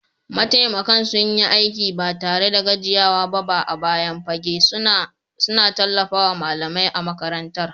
Mataimakan sun yi aiki ba tare da gajiyawa ba a bayan fage, suna tallafawa malamai a makarantar.